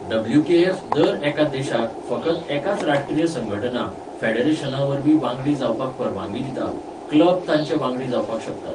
WKF. दर एका देशाक फकत एकाच राष्ट्रीय संघटना, फेडरेशना वरवीं वांगडी जावपाक परवानगी दिता, क्लब तांचे वांगडी जावपाक शकतात.